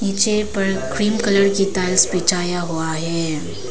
नीचे पर cream colour की टाइल्स बिछाया हुआ है।